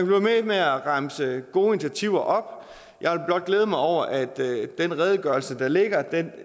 ved med at remse gode initiativer op jeg vil blot glæde mig over at den redegørelse der ligger